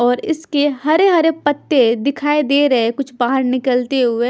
और इसके हरे-हरे पत्ते दिखाई दे रहे हैं कुछ बाहर निकलते हुए।